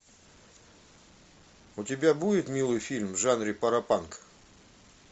у тебя будет милый фильм в жанре паропанк